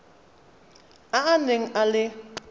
a a neng a le